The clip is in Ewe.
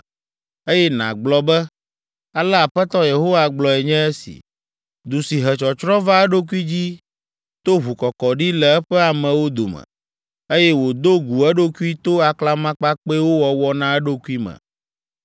eye nàgblɔ be, ‘Ale Aƒetɔ Yehowa gblɔe nye esi: Du si he tsɔtsrɔ̃ va eɖokui dzi to ʋukɔkɔɖi le eƒe amewo dome, eye wòdo gu eɖokui to aklamakpakpɛwo wɔwɔ na eɖokui me.